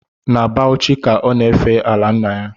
Na Bauchi ka ọ na-efe ala nna ya